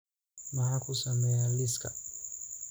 Maxaan ku sameeyaa liiska?